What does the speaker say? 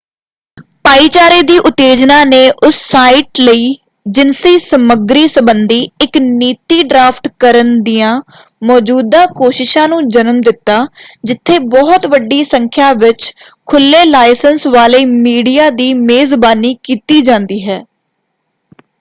ਭਾਈਚਾਰੇ ਦੀ ਉਤੇਜਨਾ ਨੇ ਉਸ ਸਾਈਟ ਲਈ ਜਿਨਸੀ ਸਮੱਗਰੀ ਸੰਬੰਧੀ ਇੱਕ ਨੀਤੀ ਡਰਾਫਟ ਕਰਨ ਦੀਆਂ ਮੌਜੂਦਾ ਕੋਸ਼ਿਸ਼ਾਂ ਨੂੰ ਜਨਮ ਦਿੱਤਾ ਜਿੱਥੇ ਬਹੁਤ ਵੱਡੀ ਸੰਖਿਆ ਵਿੱਚ ਖੁਲ੍ਹੇ-ਲਾਇਸੰਸ ਵਾਲੇ ਮੀਡੀਆ ਦੀ ਮੇਜ਼ਬਾਨੀ ਕੀਤੀ ਜਾਂਦੀ ਹੈ।